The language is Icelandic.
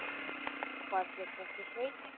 Hvað hét þessi sveit?